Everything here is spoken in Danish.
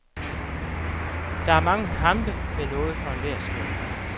Der er mange kampe med noget for enhver smag.